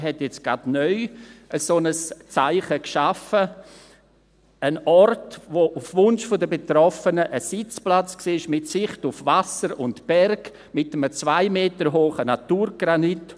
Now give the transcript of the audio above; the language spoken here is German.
Er hat jetzt gerade neu ein solches Zeichen geschaffen: ein Ort, der auf Wunsch der Betroffenen ein Sitzplatz war, mit Sicht auf Wasser und Berg mit einem zwei Meter hohen Naturgranit.